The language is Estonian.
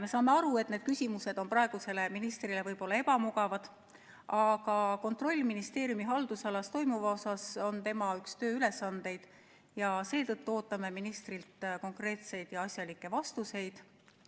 Me saame aru, et need küsimused on praegusele ministrile võib-olla ebamugavad, aga kontroll ministeeriumi haldusalas toimuva üle on tema üks tööülesandeid ja seetõttu ootame ministrilt konkreetseid ja asjalikke vastuseid.